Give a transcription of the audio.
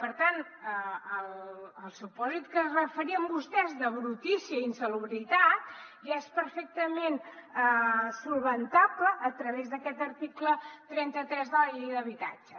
per tant el supòsit a què es referien vostès de brutícia i insalubritat ja és perfectament solucionable a través d’aquest article trenta tres de la llei d’habitatge